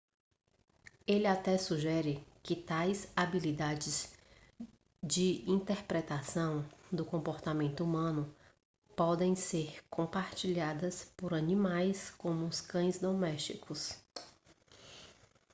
ele até sugere que tais habilidades de interpretação do comportamento humano podem ser compartilhadas por animais como cães domésticos